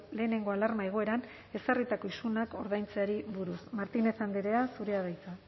lehenengo alarma egoeran ezarritako isunak ordaintzeari buruz martínez andrea zurea da hitza